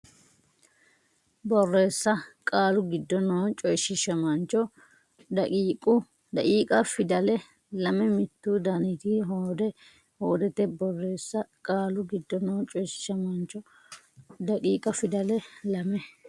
Borreessa Qaalu giddo noo coyshiishamaancho daqiiqa fidale lame mittu daniti hoode hoodete Borreessa Qaalu giddo noo coyshiishamaancho daqiiqa fidale lame.